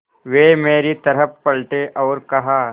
वे मेरी तरफ़ पलटे और कहा